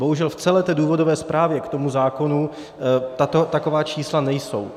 Bohužel v celé té důvodové zprávě k tomu zákonu taková čísla nejsou.